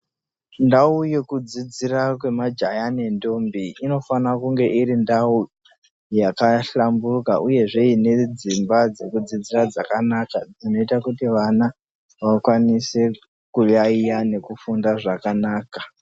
Ndau yekudzidzira yemajaya nendombi, inofane kunge iri ndau yakahlamburuka uyezve nedzimba dzekudzidzira dzakanaka zvinoita kuti vana vakwanise kuyaiya nekufunda zvakanaka.